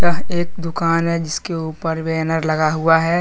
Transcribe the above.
यह एक दुकान है जिसके ऊपर बैनर लगा हुआ है।